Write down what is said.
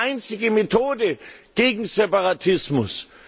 Das ist die einzige Methode gegen Separatismus.